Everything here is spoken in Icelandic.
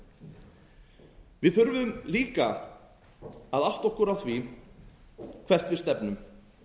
við þurfum líka að átta okkur á því hvert við stefnum